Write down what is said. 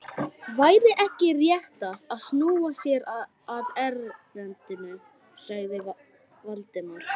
Væri ekki réttast að snúa sér að erindinu? sagði Valdimar.